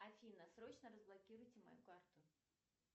афина срочно разблокируйте мою карту